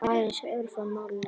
Aðeins örfá mál nefnd.